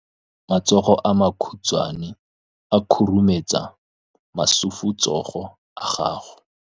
Matsogo a makhutshwane a khurumetsa masufutsogo a gago.